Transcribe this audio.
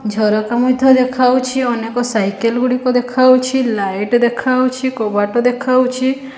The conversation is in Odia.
ଝରକା ମଧ୍ୟ ଦେଖା ହଉଛି ଅନେକ ସାଇକେଲ ଗୁଡ଼ିକ ଦେଖା ହଉଛି ଲାଇଟ ଦେଖା ହଉଛି କବାଟ ଦେଖାହଉଛି ।